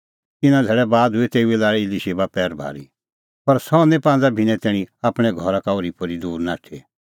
इना धैल़ै बाद हुई तेऊए लाल़ी इलीशिबा पैरभारी पर सह निं पांज़ा भिन्नैं तैणीं आपणैं घरा का ओर्हीपोर्ही दूर नाठी